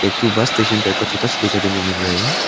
एक ठो bus station type का छोटा सा दिखाई देने मिल रहा है।